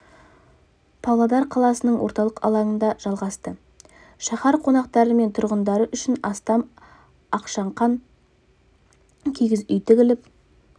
павлодар қаласының орталық алаңында жалғасты шаһар қонақтары мен тұрғындары үшін астам ақшаңқан киіз үй тігіліп